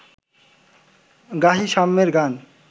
গাহি সাম্যের গান